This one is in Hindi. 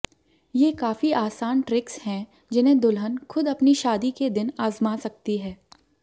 ये काफी आसान ट्रिक्स हैं जिन्हें दुल्हन खुद अपनी शादी के दिन आज़मा सकती है